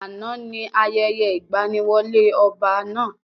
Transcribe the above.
Àná ni ayẹyẹ ìgbaniwọlé ọba náà.